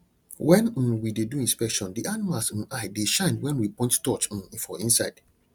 when um we dey do inspection the animals um eye dey shine when we point torch um for inside